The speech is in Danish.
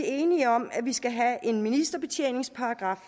enige om at vi skal have en ministerbetjeningsparagraf